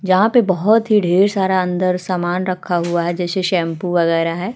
जहां पे बहोत ही ढेर सारा अंदर सामान रखा हुआ है। जैसे शैंपू वगैरह है।